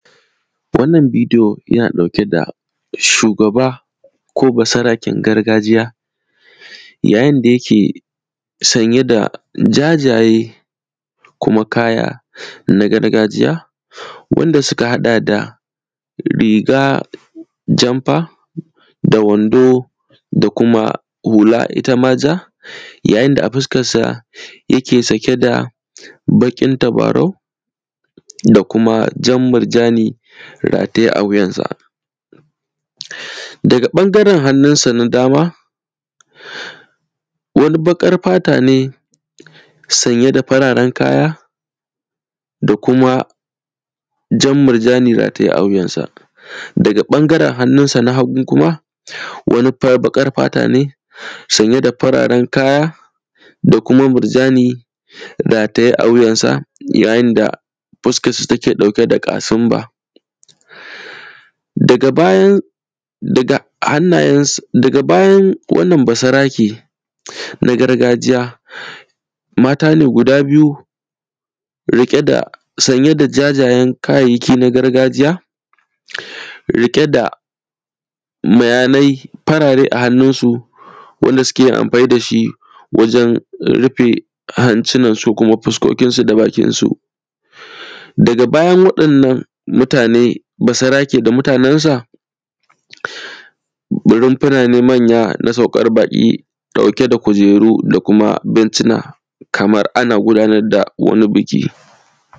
Wannan bidiyo, yana ɗauke da shugaba ko basaraken gargajiya, yayin da yake sanye da jajaye kuma kaya na gargajiya wanda sika haɗa da riga jamfa da wando da kuma hula ita ma ja. Yayin da a fiskassa yake sake da baƙin tabarau da kuma jan mirjani rataye a wuyansa. Daga ƃanagren hanninsa na dama, wani baƙar fata ne sanye da fararen kaya da kuma jan mirjani rataye a wuyansa. Daga ƃangaren hannunsa na hagun kuma, wani fa; baƙar fata ne sanye da fararen kaya da kuma mirjani rataye a wuyansa yayin da fuskassa take ɗauke da ƙasimba. Daga bayan; daga hannayen s; daga bayan wannan basarake na gargajiya, mata ne guda biyu riƙe da; sanye da jajyen kayayyaki na gargajiya, riƙe da mayanai farare a hanninsu wanda sike yin amfani da shi wajen rife hancinansu ko kuma fiskokinsu da bakinsu. Daga bayan waɗannan mutane, basarake da mutanensa, runfuna ne manya na saukar baƙi ɗauke da kujeru da kuma bencina, kamar ana gunadar da wani biki.